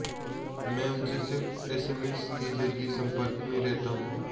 मैं उनसे सिर्फ एसएमएस के जरिए संपर्क में रहता हूं